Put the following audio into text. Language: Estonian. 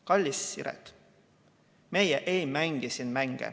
Kallis Siret, meie ei mängi siin mänge.